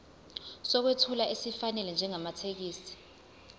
sokwethula esifanele njengamathekisthi